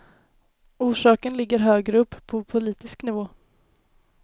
Orsaken ligger högre upp, på politisk nivå.